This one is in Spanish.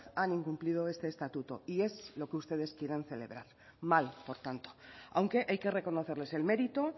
han incumplido este estatuto y es lo que ustedes quieren celebrar mal por tanto aunque hay que reconocerles el mérito